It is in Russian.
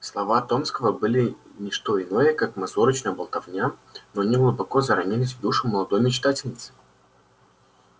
слова томского были ни что иное как мазурочная болтовня но они глубоко заронились в душу молодой мечтательницы